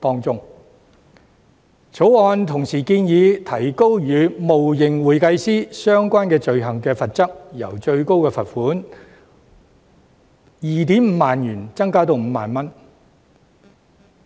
《條例草案》同時建議提高與冒認會計師相關的罪行的罰則，由最高罰款 25,000 元提高至 50,000 元。